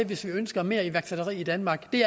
hvis vi ønsker mere iværksætteri i danmark vi